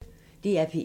DR P1